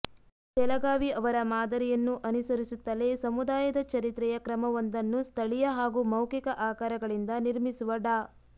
ತೆಲಗಾವಿ ಅವರ ಮಾದರಿಯನ್ನು ಅನುಸರಿಸುತ್ತಲೆ ಸಮುದಾಯದ ಚರಿತ್ರೆಯ ಕ್ರಮವೊಂದನ್ನು ಸ್ಥಳೀಯ ಹಾಗು ಮೌಖಿಕ ಆಕರಗಳಿಂದ ನಿರ್ಮಿಸುವ ಡಾ